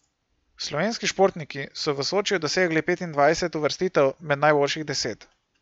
Slovenski športniki so v Sočiju dosegli petindvajset uvrstitev med najboljših deset.